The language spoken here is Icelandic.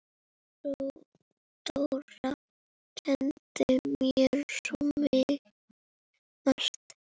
Dóra kenndi mér svo margt.